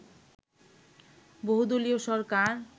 বহুদলীয় সরকার